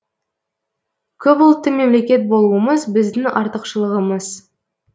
көпұлтты мемлекет болуымыз біздің артықшылығымыз